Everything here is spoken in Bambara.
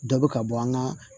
Dɔ bɛ ka bɔ an ka